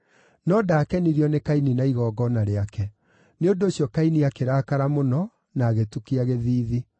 no ndaakenirio nĩ Kaini na igongona rĩake. Nĩ ũndũ ũcio Kaini akĩrakara mũno, na agĩtukia gĩthiithi.